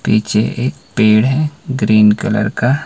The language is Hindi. पीछे एक पेड़ है ग्रीन कलर का--